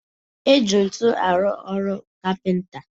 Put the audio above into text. Eji ntu arụ ọru kapịnta